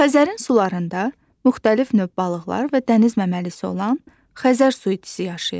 Xəzərin sularında müxtəlif növ balıqlar və dəniz məməlisi olan Xəzər suitisi yaşayır.